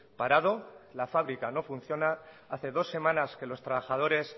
parado la fabrica no funciona hace dos semanas que los trabajadores